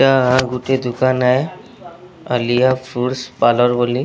ଗୋଟେ ଦୋକାନ ରେ ଆଲୀଆ ଫ୍ରୁଟ୍ ପାଲୋର୍ ବୋଲି।